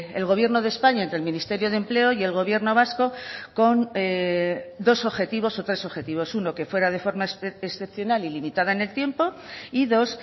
el gobierno de españa entre el ministerio de empleo y el gobierno vasco con dos objetivos o tres objetivos uno que fuera de forma excepcional y limitada en el tiempo y dos